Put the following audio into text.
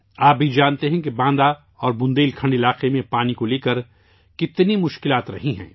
آپ بھی جانتے ہیں کہ باندہ اور بندیل کھنڈ علاقے میں پانی کے حوالے سے کتنی مشکلات رہی ہیں